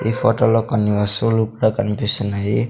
ఈ ఫొటో లో కొన్ని వస్తువులు కూడా కన్పిస్తున్నాయి.